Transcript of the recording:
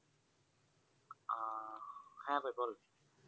হ্যাঁ ভাই বল